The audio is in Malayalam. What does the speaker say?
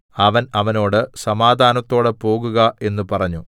അവൻ അവനോട് സമാധാനത്തോടെ പോകുക എന്ന് പറഞ്ഞു